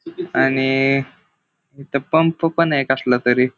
आणि इथ पंप पण आहे कसला तरी.